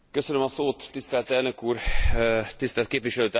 Tisztelt elnök úr, tisztelt képviselőtársaim!